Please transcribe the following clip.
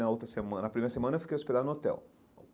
Na outra semana na primeira semana, eu fiquei hospedado no hotel.